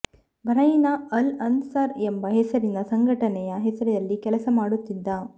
Bahrain ನಲ್ಲಿ Al Ansar ಎಂಬ ಹೆಸರಿನ ಸಂಘಟನೆಯ ಹೆಸರಲ್ಲಿ ಕೆಲಸ ಮಾಡುತ್ತಿದ್ದ